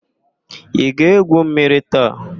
Ị ga-égwù mmiri taa?